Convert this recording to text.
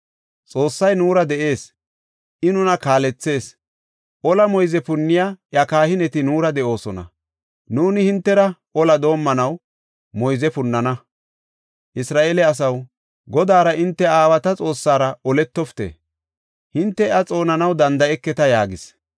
Xoossay nuura de7ees; I nuna kaalethees. Ola moyze punniya iya kahineti nuura de7oosona; nuuni hintera olaa doomanaw moyze punnana. Isra7eele asaw, Godaara hinte aawata Xoossara oletofite! Hinte iya xoonanaw danda7eketa” yaagis.